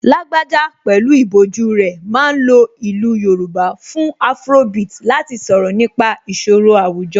Lágbájá pẹ̀lú ìbòjú rẹ̀ ma ń lo ìlú Yorùbá fún afrobeat láti sọ̀rọ̀ nípa ìṣòro àwùjọ